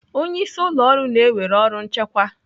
Onye isi ụlọ ọrụ na-ewere ọrụ nchịkwa.